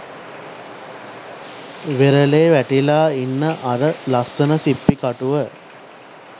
වෙරළෙ වැටිලා ඉන්න අර ලස්සන සිප්පි කටුව